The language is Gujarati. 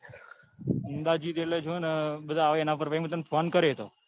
અંદાજીત એટલે જો ને બધા આવે એના પર પછી એતો હું તને ફોન કર્યો એતો.